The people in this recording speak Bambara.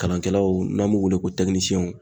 Kalankɛlaw n'an b'u wele ko